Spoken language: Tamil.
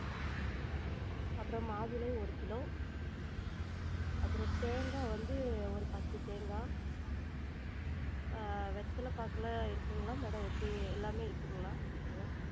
அப்றம் மாதுளை ஒரு கிலோ அப்றம் தேங்கா வந்து ஒரு பத்து தேங்கா அஹ் வெத்தல பாக்கலாம் இருக்குங்களா madam எப்டி எல்லாமே இருக்குங்களா?